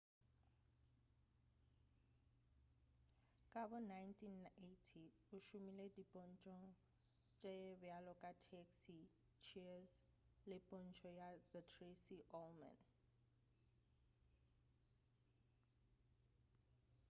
ka bo 1980 o šomile dipontšhong tše bjalo ka taxi cheers le pontšho ya the tracy ullman